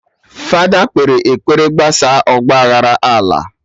Fada kpere ekpere gbasaa ọgba aghara ala